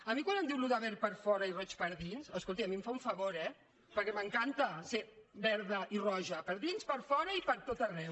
a mi quan em diu allò de verd per fora i roig per dins escolti a mi em fa un favor eh perquè m’encanta ser verda i roja per dins per fora i per tot arreu